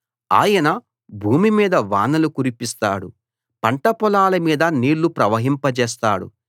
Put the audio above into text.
ఆయన భూమి మీద వానలు కురిపిస్తాడు పంట పొలాల మీద నీళ్లు ప్రవహింపజేస్తాడు